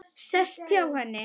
Sest hjá henni.